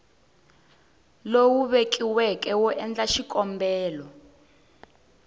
lowu vekiweke wo endla xikombelo